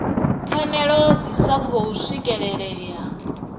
pfanelo dzi sa khou swikelelea